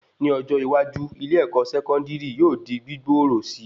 Ní ọjọ́ iwájú, ilé-èkó sẹkọndiri yóò di gbigboro síi